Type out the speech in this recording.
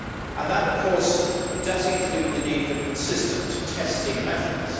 And that, of course, includes the need for consistent testing methods.